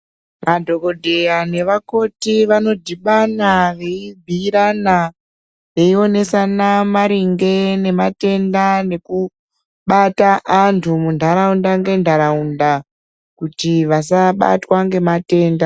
Madhokodheya nevakoti vanodhibana vei bhuyirana veionesana maringe nematenda, neku bata antu mundaraunda nge ndaraunda kuti vasabatwa ngematenda.